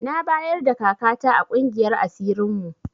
Na bayarda kaka ta a ƙungiyar asirin mu